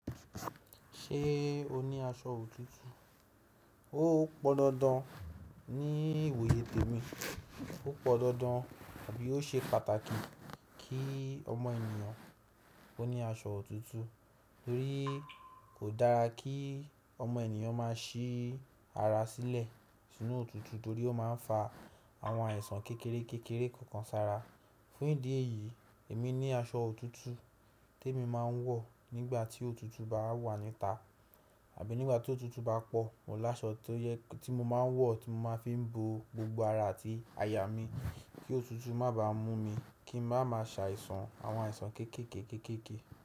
Ṣé o ní aṣọ òtútù? Ó pọn dandan ní ìwòye tèmi, ó pọn dandan àbí ó ṣe pàtàkì kí ọmọ ènìyàn ó ní aṣọ òtútù torí kò dára kí ọmọ ènìyàn má sí ara sílẹ̀ sínú òtútù torí ó ma ń fa àwọn àìsàn kékeré kékeré kankan sára. Fún ìdí èyí, èmi ní aṣọ òtútù témi ma ń wọ̀ nígbà tí òtútù bá wà níta àbí nígbà tí òtútù bá pọ̀ mo ní aṣọ tí mo máa ń wò tí mo máa fi ń bo gbogbo ara àti àyà mi kí òtútù má baà mú mi ki n má ma sàìsàn àwon àìsàn kéèké ké kéèké ké.